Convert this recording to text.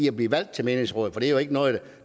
at blive valgt til menighedsråd for det er jo ikke noget